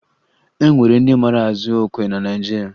E nwere ndị mara azụ okwe na Naịjirịa